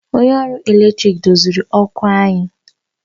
Onye ọrụ ọkụ eletrik doziri ọkụ anyị